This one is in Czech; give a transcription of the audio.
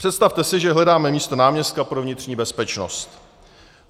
Představte si, že hledáme místo náměstka pro vnitřní bezpečnost.